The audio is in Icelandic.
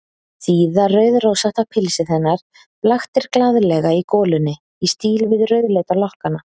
Síða rauðrósótta pilsið hennar blaktir glaðlega í golunni, í stíl við rauðleita lokkana.